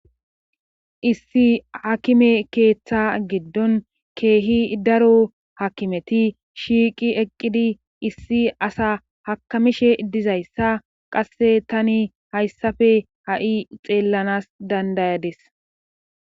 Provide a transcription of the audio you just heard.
Issi hakime keeththa giddon keehi daro hakimeti shiiqi eqqidi issi asa hakamishe dizayssa qasse tani hayssafe ha7i xeellanas dandayades.